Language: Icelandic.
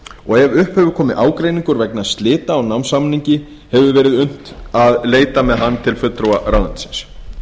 og ef upp hefur komið ágreiningur vegna slita á námssamningi hefur verið unnt að leita með hann til fulltrúa ráðuneytisins